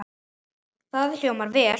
Það hljómar vel.